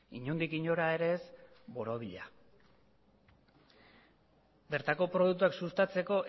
inondik inora ere ez borobila bertako produktuak sustatzeko